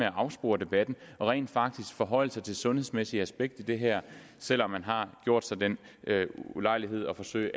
afspore debatten og rent faktisk forholde sig til det sundhedsmæssige aspekt i det her selv om man har gjort sig den ulejlighed at forsøge